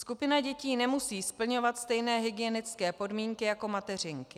Skupina dětí nemusí splňovat stejné hygienické podmínky jako mateřinky.